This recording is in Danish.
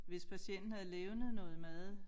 Hvis patienten havde levnet noget mad